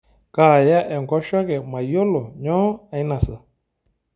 Kaaya enkoshoke mayiolo nyoo ainosa.